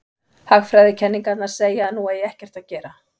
Hagfræðikenningarnar segja að nú eigi ekkert að gera.